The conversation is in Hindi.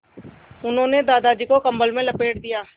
उन्होंने दादाजी को कम्बल में लपेट दिया